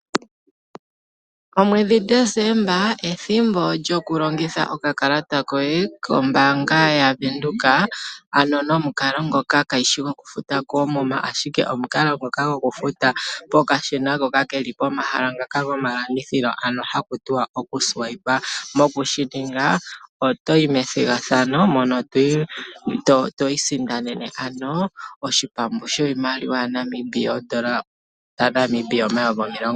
Omwedhi Desemba ethimbo lyokulongitha okakalata koye kombaanga yaVenduka ano nomukalo ngoka kaagu shi gokufuta koomuma ashike omukalo ngoka gokufuta nokashina hoka keli pomahala gomalandithilo . Mokushininga oto yi methigathano mono twiisindanene oshipambu shiimaliwa N$20000.